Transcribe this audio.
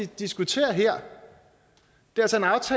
diskuterer her